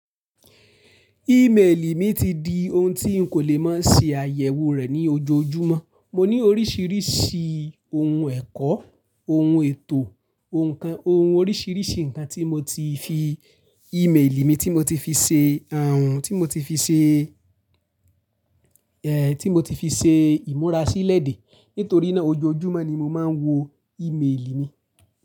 Email mi ti di ohun tí ń kò lè má ṣe àyẹ̀wò rẹ̀ ní ojoojúmọ́. Mo ní oríṣiríṣi ohun ẹ̀kọ́, ohun ètò, ohun oríṣiríṣi nǹkan tí mo tí fi email mi tí mo tí fi ṣe, tí mo tí fi ṣe, ẹ́ tí mo tí fi ṣe ìmúra sílẹ̀ dé, nítorí náà ojoojúmọ́ ni mo máa ń wo email mi.